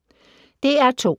DR2